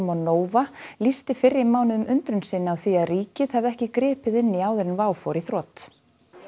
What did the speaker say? og Nova lýsti fyrr í mánuðinum undrun sinni á því að ríkið hefði ekki gripið inn í áður en WOW fór í þrot